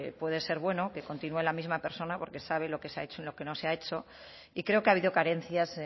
puede ser bueno que continúe la misma persona porque sabe lo que se ha hecho y lo que no se ha hecho y creo que ha habido carencias